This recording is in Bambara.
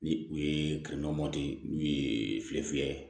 Ni u ye n'u ye file fiyɛ